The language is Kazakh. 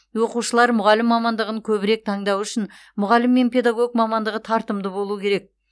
оқушылар мұғалім мамандығын көбірек таңдауы үшін мұғалім мен педагог мамандығы тартымды болуы керек